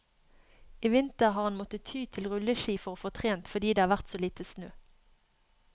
I vinter har han måttet ty til rulleski for å få trent, fordi det har vært så lite snø.